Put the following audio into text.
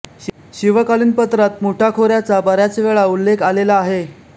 शिवकालीन पत्रात मुठा खोऱ्याचा बऱ्याच वेळा उल्लेख आलेला आहे